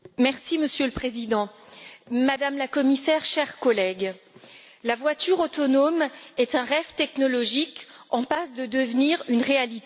Monsieur le Président, Madame la Commissaire, chers collègues, la voiture autonome est un rêve technologique en passe de devenir une réalité.